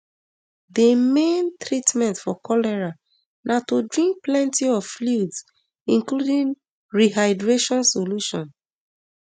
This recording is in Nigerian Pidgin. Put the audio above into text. di main treatment for cholera na to drink plenty of fluids including rehydration solution